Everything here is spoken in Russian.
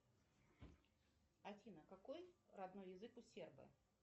афина какой родной язык у сербов